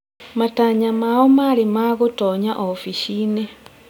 Matanya mao marĩ ma gũtonya ofici-inĩ